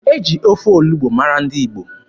E ji ofe olugbu mara ndị Igbo.